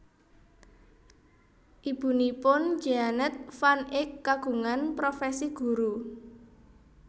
Ibunipun Jeannette van Eek kagungan profesi guru